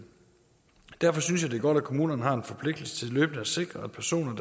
derfor synes jeg det er godt at kommunerne har en forpligtelse til løbende at sikre at personer